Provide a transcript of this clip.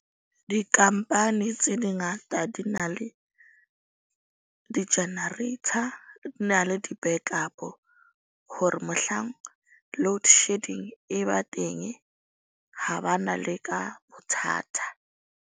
Dikampani tse di ngata di na le di-generator, di na le di-backup-o. Hore mohlang load shedding e ba teng ha ba na leka bothata.